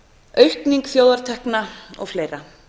aukningu þjóðartekna og fleira